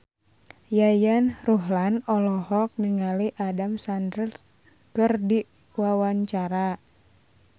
Yayan Ruhlan olohok ningali Adam Sandler keur diwawancara